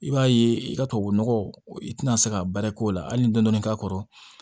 I b'a ye i ka tubabunɔgɔ i tɛna se ka baara k'o la hali dɔɔnin k'a kɔrɔ